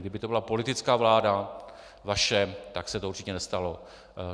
Kdyby to byla politická vláda, vaše, tak se to určitě nestalo.